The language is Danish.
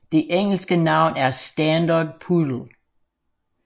Det engelske navn er standard poodle